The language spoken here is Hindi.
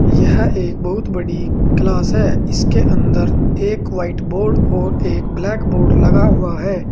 यह एक बहुत बड़ी क्लास है इसके अंदर एक व्हाइट बोर्ड और एक ब्लैक बोर्ड लगा हुआ है।